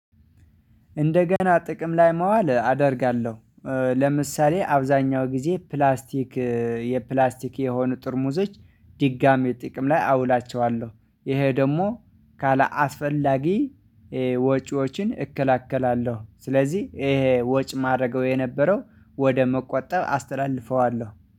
እንደገና ጥቅም ላይ መዋል አደርጋለሁ። ለምሳሌ አብዛኛው ጊዜ ፕላስቲክ የፕላስቲክ የሆኑ ጠርሙዞች ድጋሚ ጥቅም ላይ አውላቸዋለሁ። ይሄ ደግሞ ካለ ካላስፈላጊ ወጪዎችን እከላከላለሁ። ስለዚህ ይሄ ወጪ ማድረገው የነበረው ወደ መቆጠብ አስተላልፈዋለሁ